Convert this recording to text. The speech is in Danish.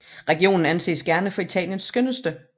Regionen anses gerne for Italiens skønneste